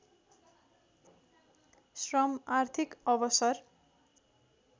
श्रम आर्थिक अवसर